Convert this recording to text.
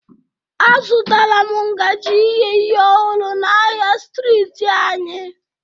Azụtara m ngaji ighe ihe ọhụrụ na ahịa streeti anyị